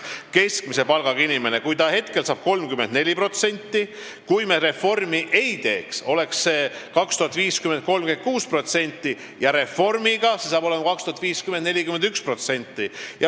Keskmist palka teeniva inimese protsent on praegu 34, kui me reformi ei teeks, oleks see 2050. aastal 36% ja pärast reformi hakkab see 2050. aastal olema 41%.